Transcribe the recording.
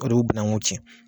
Kar'u binaŋɔ tiɲɛ